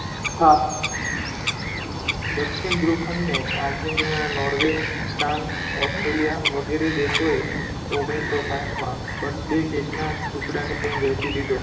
હા દક્ષિણ ધ્રુવખંડે આર્જેંટીના, નૉર્વે, ફ્રાંસ, ઓસ્ટ્રેલીયા વગેરે દેશોએ ઓગણીસો સાહિઠમાં birthday કેકનાં ટુંકડાની જેમ વહેંચી લીધો.